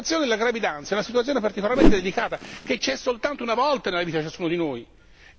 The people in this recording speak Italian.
La situazione della gravidanza è una situazione particolarmente delicata, che c'è soltanto una volta nella vita di ciascuno di noi.